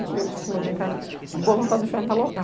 Eu costumo brincar de boa vontade, diferente da loucura.